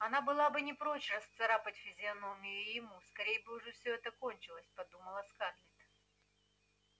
она была бы не прочь расцарапать физиономию и ему скорей бы уж всё это кончилось подумала скарлетт